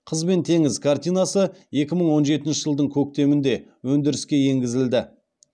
қыз бен теңіз картинасы екі мың он жетінші жылдың көктемінде өндіріске енгізілді